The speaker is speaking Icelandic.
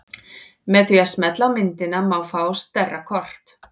Með því að smella á myndina má fá stærra kort.